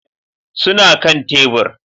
Suna kan tebur